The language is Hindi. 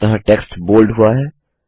अतः टेक्स्ट बोल्ड हुआ है